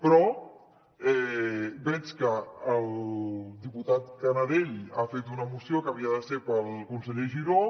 però veig que el diputat canadell ha fet una moció que havia de ser per al conseller giró